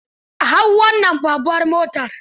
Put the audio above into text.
Hau wannan babbar motar.